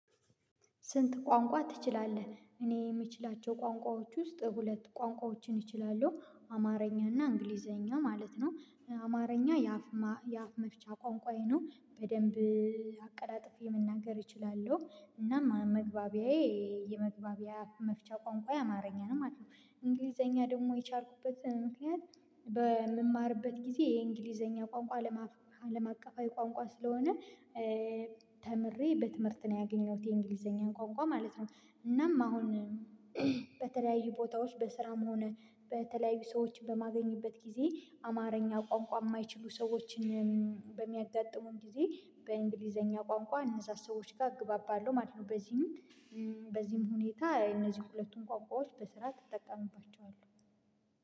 ስንት ቋንቋ ትችላለህ? እኔ የምችላቸው ቋንቋዎች ውስጥ ሁለት ቋንቋዎችን እችላለሁ አማርኛና እና እንግሊዘኛ ማለት ነው። አማርኛ የአፍ መፍቻ ቋንቋዬ ነው። በደንብ አቀላጥፌ መናገር እችላለሁ። እናም መግባቢያዬ የመግባቢያ መፍቻ ቋንቋዬ አማርኛ ነው ማለት ነው። እንግሊዘኛ ደግሞ የቻልኩበት ምክንያት በምማርበት ጊዜ የእንግሊዘኛ ቋንቋ አለም አቀፋዊ ቋንቋ ስለሆነ። ተምሬ በትምህርት ነው ያገኘሁት የእንግሊዘኛን ቋንቋ ማለት ነው። እናም አሁን በተለያዩ ቦታዎች በስራም ሆነ በተለያዩ ሰዎች በማገኝበት ጊዜ አማርኛ ቋንቋ የማይችሉ ሰዎችን በሚያጋጥሙኝ ጊዜ በእንግሊዘኛ ቋንቋ እነዛ ሰዎች ጋር እግባባለሁ ማለት ነው። በዚህም በዚህም ሁኔታ እነዚህን ሁለቱም ቋንቋዎች በስርዓት እጠቀምባቸዋለሁ።